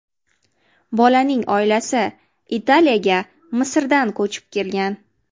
Bolaning oilasi Italiyaga Misrdan ko‘chib kelgan.